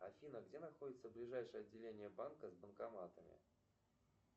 афина где находится ближайшее отделение банка с банкоматами